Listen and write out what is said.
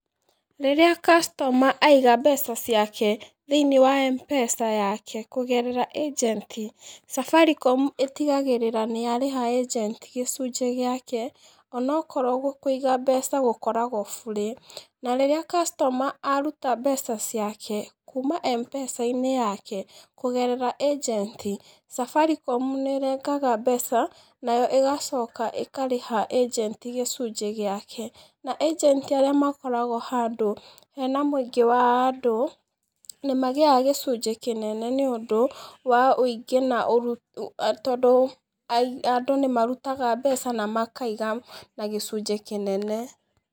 Rĩrĩa customer aiga mbeca ciake thĩiniĩ wa mpesa yake kũgerera agenti Safaricom ĩtigagĩrĩra nĩ yarĩha agenti gĩcunjĩ gĩake onakorwo kũiga mbeca gĩkoragwo burĩ na rĩrĩa kastoma aruta mbeca ciake kumana na Mpesa inĩ yake kũgerera agenti Safaricom nĩrengaga mbeca nayo ĩgacoka ĩkarĩha agenti gĩcunjĩ gĩake na agenti arĩa makoragwo hena mũingĩ wa andũ nĩ magĩaga gĩcunjĩ kĩnene nĩ ũndũ wa ũingĩ tondũ andũ nĩ marutaga mbeca kana makaiga na gĩcunjĩ kĩnene.